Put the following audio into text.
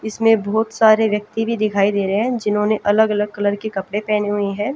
इसमें बहोत सारे व्यक्ति भी दिखाई दे रहे है जिन्होंने ने अलग अलग कलर के कपड़े पहने हुए है।